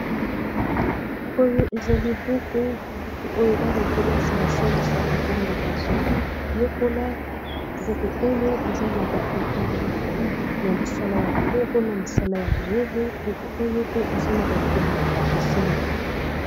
oyo ezali buku buku oyo bana-kelasi basalisaka ntango bazoyekola buku oyo eza na ba elili ya misala ya maboko na misala ya mayele buku oyo pe eza na baekomeli ekeseni